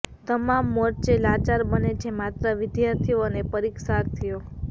તમામ મોરચે લાચાર બને છે માત્ર વિદ્યાર્થીઓ અને પરીક્ષાર્થીઓ